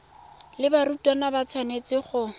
le barutwana ba tshwanetse go